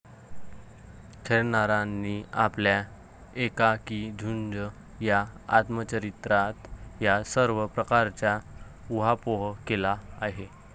खैरनारांनी आपल्या एकाकी झुंज या आत्मचरित्रात या सर्व प्रकारांचा ऊहापोह केला आहे.